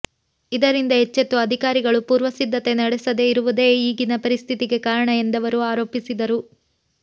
ಇದರಿಂದ ಎಚ್ಚೆತ್ತು ಅಧಿಕಾರಿಗಳು ಪೂರ್ವಸಿದ್ಧತೆ ನಡೆಸದೇ ಇರುವುದೇ ಈಗಿನ ಪರಿಸ್ಥಿತಿಗೆ ಕಾರಣ ಎಂದವರು ಆರೋಪಿಸಿದರು